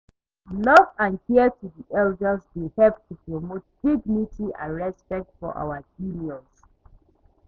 Love and care to di elders dey help to promote dignity and respect for our seniors.